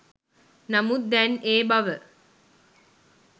නමුත් දැන් ඒ බව